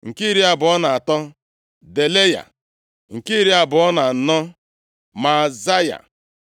nke iri abụọ na atọ, Delaya nke iri abụọ na anọ, Maazaya.